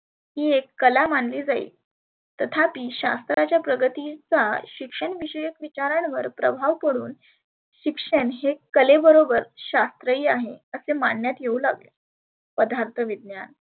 ही एक कला मानली जाई. तथापी शास्त्राच्या प्रगतीचा शिक्षण विषयक विचारांवर प्रभाव पडुन शिक्षण हे कले बरोबर शास्त्रहीन आहे असे मानन्यात येऊ लागले. पदार्थ विज्ञान